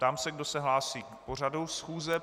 Ptám se, kdo se hlásí k pořadu schůze.